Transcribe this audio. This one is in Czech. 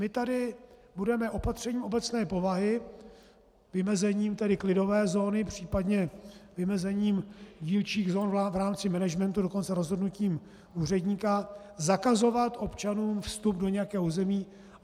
My tady budeme opatřením obecné povahy, vymezením tedy klidové zóny, případně vymezením dílčích zón v rámci managementu, dokonce rozhodnutím úředníka zakazovat občanům vstup do nějakého území.